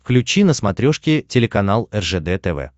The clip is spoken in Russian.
включи на смотрешке телеканал ржд тв